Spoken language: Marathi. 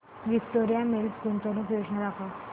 विक्टोरिया मिल्स गुंतवणूक योजना दाखव